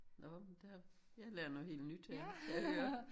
Nå men der jeg lærer noget helt nyt her kan jeg høre